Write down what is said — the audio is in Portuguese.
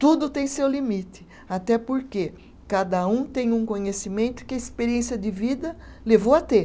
Tudo tem seu limite, até porque cada um tem um conhecimento que a experiência de vida levou a ter.